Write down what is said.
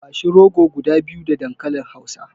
Bashi rogo guda biyu da dankalin hausa.